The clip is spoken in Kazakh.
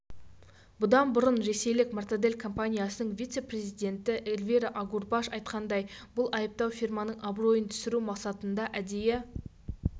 бұдан бұрын ресейлік мортадель компаниясының вице-президенті эльвира агурбаш айтқандай бұл айыптау фирманың абыройын түсіру мақсатында әдейі